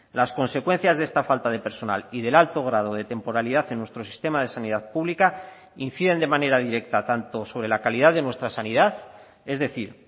las consecuencias de esta falta de personal y del alto grado de temporalidad en nuestro sistema de sanidad pública inciden de manera directa tanto sobre la calidad de nuestra sanidad es decir